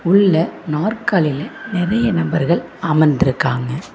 உள்ள நாற்காலியில நறைய நபர்கள் அமர்ந்துருக்காங்க.